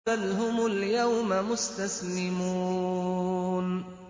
بَلْ هُمُ الْيَوْمَ مُسْتَسْلِمُونَ